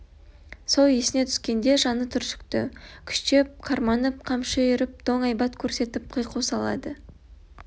сол есіне түскенде жаны түршікті күштеп қарманып қамшы үйіріп доң айбат көрсетіп қиқу салады